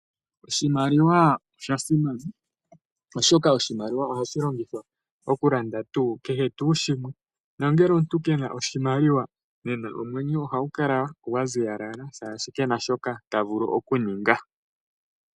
Oshimaliwa osha simana oshoka oshimaliwa ohashi longithwa okulanda kehe tuu shimwe . Nongele omuntu kena oshimaliwa oha kala aziyalala oshoka kena shoka ena okuninga.